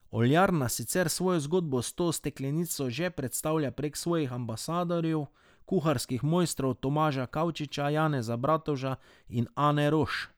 Oljarna sicer svojo zgodbo s to steklenico že predstavlja prek svojih ambasadorjev, kuharskih mojstrov Tomaža Kavčiča, Janeza Bratovža in Ane Roš.